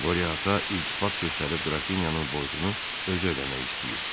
Qoria Ata iltifat göstərib Qrafinyanın borcunu özü ödəmək istəyib.